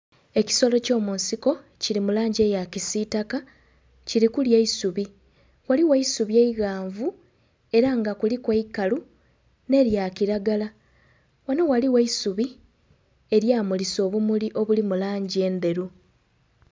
Ekisolo ky'omunsiko kili mu langi eya kisiitaka, kili kulya eisubi. Ghaligho eisubi eighanvu era nga kuliku eikalu nh'elya kiragala. Ghano ghaligho eisubi elya mulisa obumuli obulimu langi endheru.